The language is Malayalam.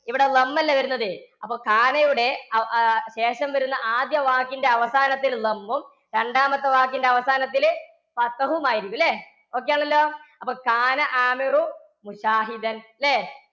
ഇവിടെ അല്ലേ വരുന്നത്. അപ്പൊ യുടെ അവ~ ശേഷം വരുന്ന ആദ്യ വാക്കിന്റെ അവസാനത്തിലും രണ്ടാമത്തെ വാക്കിന്റെ അവസാനത്തില് മായിരിക്കും ല്ലേ? okay ആണല്ലോ? അപ്പൊ ല്ലേ?